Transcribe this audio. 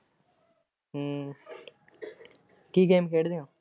ਹੂ ਕੀ game ਖੇਡਦੇ ਉ?